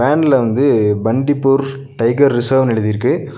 வேன்ல வந்து பன்டிப்பூர் டைகர் ரிசர்வ்ன்னு எழுதிருக்கு.